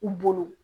U bolo